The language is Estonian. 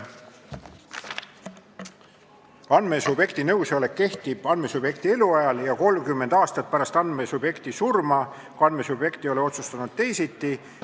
Andmesubjekti nõusolek kehtib andmesubjekti eluajal ja 30 aastat pärast andmesubjekti surma, kui andmesubjekt ei ole otsustanud teisiti.